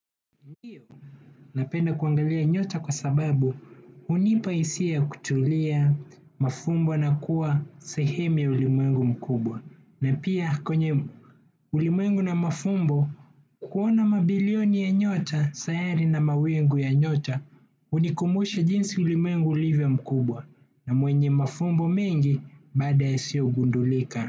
Napenda kuangalia nyota kwa sababu hunipa hisia ya kutulia mafumbo na kuwa sehemu ya ulimwengu mkubwa na pia kwenye ulimwengu na mafumbo kuona mabilioni ya nyota sayari na mawingu ya nyota hunikumushe jinsi ulimwengu ulivyomkubwa na mwenye mafumbo mengi baada yasiyogundulika.